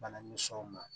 Bana ni sow ma